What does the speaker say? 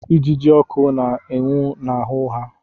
Ijiji ọkụ na-enwu n'ahụ ha.